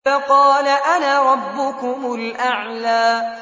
فَقَالَ أَنَا رَبُّكُمُ الْأَعْلَىٰ